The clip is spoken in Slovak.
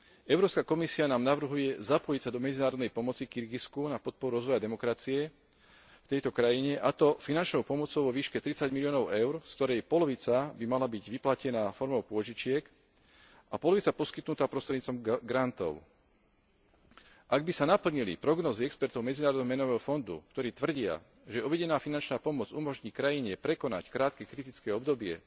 Európska komisia nám navrhuje zapojiť sa do medzinárodnej pomoci Kirgizsku na podporu rozvoja demokracie v tejto krajine, a to finančnou pomocou vo výške 30 miliónov EUR, z ktorej polovica by mala byť vyplatená formou pôžičiek a polovica poskytnutá prostredníctvom grantov. Ak by sa naplnili prognózy expertov MMF, ktorí tvrdia, že uvedená finančná pomoc umožní krajine prekonať krátke kritické obdobie